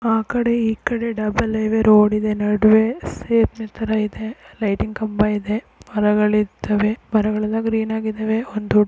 ಆಕಡೆ ಈಕಡೆ double highway road ಇದೆ ನಡುವೆ ತರ ಇದೆ ಲೈಟ್ ಇನ್ ಕಂಬ ಇದೆ ಮರಗಳಿದ್ದವೇ ಮರಗಳೆಲ್ಲ ಗ್ರೀನ್ ಆಗಿದ್ದವೇ ಒಂದು ದೊಡ್ --